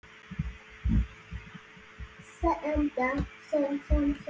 Össur fýldur.